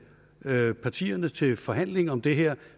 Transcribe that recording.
partierne til forhandlinger om det her